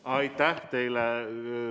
Aitäh teile!